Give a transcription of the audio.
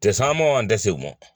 Tɛse saman tɛ se mɔn